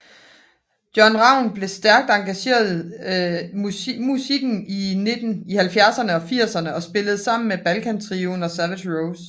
John Ravn blev stærkt engageret musikken i 1970erne og 1980erne og spillede sammen med Balkan trioen og Savage Rose